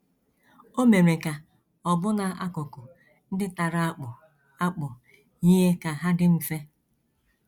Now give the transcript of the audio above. O mere ka ọbụna akụkụ ndị tara akpụ akpụ yie ka hà dị mfe. ”